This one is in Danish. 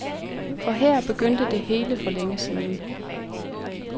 For her begyndte det hele for længe siden.